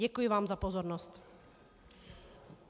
Děkuji vám za pozornost.